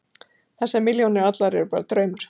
Þessar milljónir allar eru bara draumur.